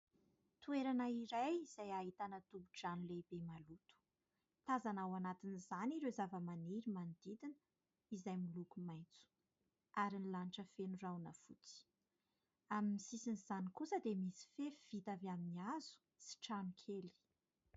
Toerana iray izay ahitana tohi-drano lehibe maloto. Tazana ao anatin'izany ireo zavamaniry manodidina izay miloko maitso ary ny lanitra feno rahona fotsy. Amin'ny sisin'izany kosa dia misy fefy vita avy amin'ny hazo sy trano kely.